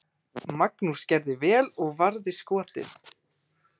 Magnús gerði vel og varði skotið.